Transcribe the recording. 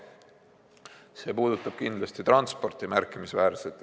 See puudutab märkimisväärselt kindlasti transporti.